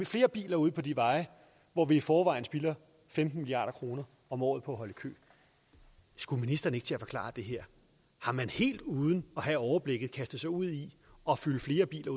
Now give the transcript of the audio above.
flere biler ude på de veje hvor vi i forvejen spilder femten milliard kroner om året på at holde i kø skulle ministeren ikke til at forklare det her har man helt uden at have overblikket kastet sig ud i at fylde flere biler